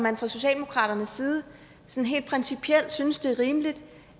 man fra socialdemokratiets side helt principielt synes det er rimeligt